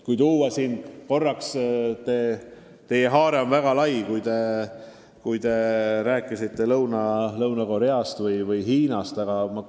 Teie haare on väga lai, te rääkisite Lõuna-Koreast ja Hiinast.